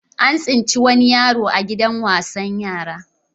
An tsinci wani yaroa gidan wasan yara.